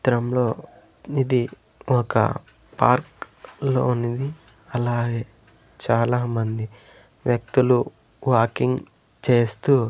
చిత్రంలో ఇది ఒక పార్క్ లోనిది అలాగే చాలామంది వ్యక్తులు వాకింగ్ చేస్తూ--